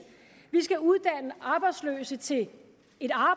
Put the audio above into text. vi skal uddanne arbejdsløse til at